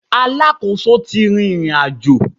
Alákòóso ti rìnrìnàjò